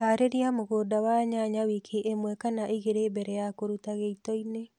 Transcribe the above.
harĩlia mũgunda wa nyanya wiki ĩmwe kana igĩli mbele ya kũruta gĩitoinĩ